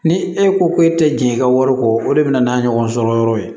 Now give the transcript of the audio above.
Ni e ko ko e tɛ jɛn i ka wari kɔ o de bɛ na n'a ye ɲɔgɔn sɔrɔ yɔrɔ ye